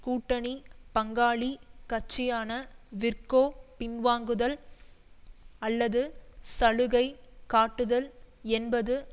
கூட்டணி பங்காளி கட்சியான விற்கோ பின்வாங்குதல் அல்லது சலுகை காட்டுதல் என்பது